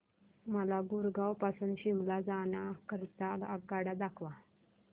मला गुरगाव पासून शिमला जाण्या करीता आगगाड्या दाखवा